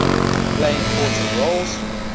play important roles